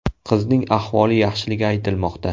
Qizning ahvoli yaxshiligi aytilmoqda.